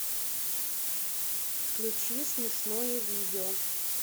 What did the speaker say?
включи смешное видео